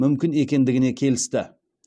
мүмкін екендігіне келісті